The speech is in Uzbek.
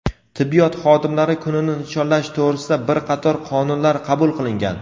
tibbiyot xodimlari kunini nishonlash to‘g‘risida bir qator qonunlar qabul qilingan.